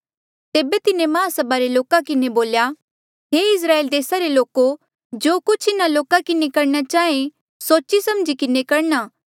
तेबे तिन्हें महासभा रे लोका किन्हें बोल्या हे इस्राएल देसा रे लोको जो कुछ इन्हा लोका किन्हें करणा चाहें सोची समझी किन्हें करणा